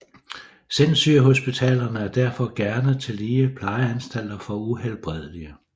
Sindssygehospitalerne er derfor gerne tillige Plejeanstalter for Uhelbredelige